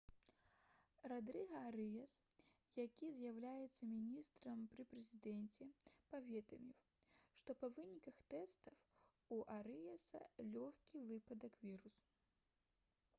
радрыга арыяс які з'яўляецца міністрам пры прэзідэнце паведаміў што па выніках тэстаў у арыяса лёгкі выпадак вірусу